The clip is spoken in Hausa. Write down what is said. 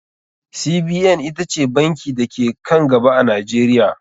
CBN ita ce banki da ke ka n gaba a Najeriya.